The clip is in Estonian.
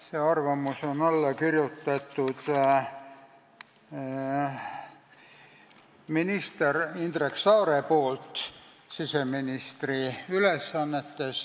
Sellele arvamusele on alla kirjutanud siseministri ülesannetes olnud minister Indrek Saar.